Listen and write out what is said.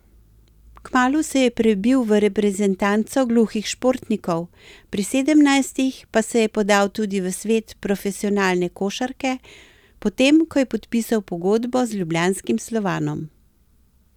Kmalu se je prebil v reprezentanco gluhih športnikov, pri sedemnajstih pa se je podal tudi v svet profesionalne košarke, potem ko je podpisal pogodbo z ljubljanskim Slovanom.